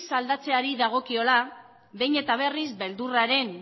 aldatzeari dagokiola behin eta berriz beldurraren